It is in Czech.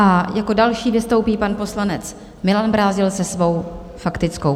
A jako další vystoupí pan poslanec Milan Brázdil se svou faktickou.